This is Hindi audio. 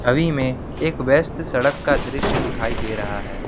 छवि में एक व्यस्त सड़क का दृश्य दिखाई दे रहा है।